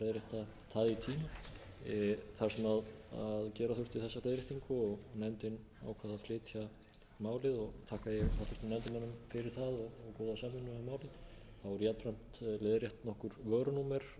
í tíma þar sem gera þurfti þessa leiðréttingu og nefndin ákvað að flytja málið þakka ég háttvirtum nefndarmönnum fyrir það og góða samvinnu við málið þá eru jafnframt leiðrétt nokkur vörunúmer sem